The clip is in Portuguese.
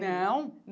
Não.